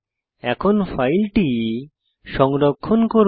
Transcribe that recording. এখন ফাইলটি সংরক্ষণ করুন